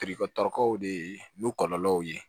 de ye n kɔlɔlɔw ye